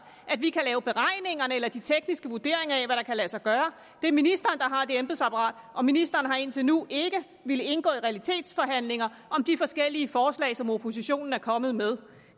at vi kan lave beregningerne eller de tekniske vurderinger af hvad der kan lade sig gøre det er ministeren der har det embedsapparat og ministeren har indtil nu ikke villet indgå i realitetsforhandlinger om de forskellige forslag som oppositionen er kommet med